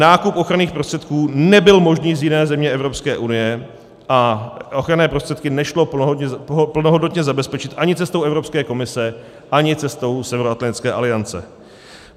Nákup ochranných prostředků nebyl možný z jiné země Evropské unie a ochranné prostředky nešlo plnohodnotně zabezpečit ani cestou Evropské komise, ani cestou Severoatlantické aliance.